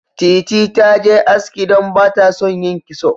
Titi ta je aski don ba ta son yin kitso.